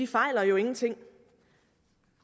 fejler jo ingenting